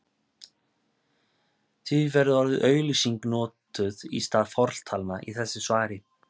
Því verður orðið auglýsing notað í stað fortalna í þessu svari.